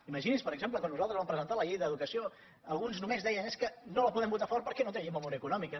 imagini’s per exemple quan nosaltres vam presentar la llei d’educació alguns només deien és que no la podem votar a favor perquè no té memòria econòmica